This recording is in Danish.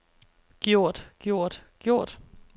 gjort gjort gjort